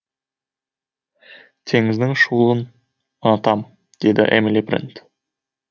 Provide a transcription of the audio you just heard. теңіздің шуылын ұнатам деді эмили брент